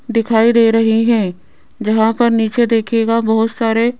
दिखाई दे रहे है जहां पर नीचे देखेगा बहुत सारे--